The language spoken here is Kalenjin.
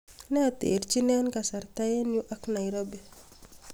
ne terjin en kasarta en yu ak nairobi